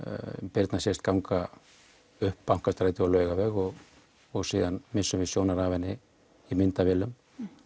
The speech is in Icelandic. Birna sést ganga upp Bankastræti og Laugarveg og og síðan missum við sjónar af henni í myndavélum